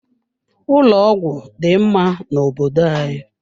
Ụlọ ọgwụ dị mma na obodo anyị.